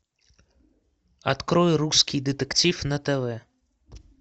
открой русский детектив на тв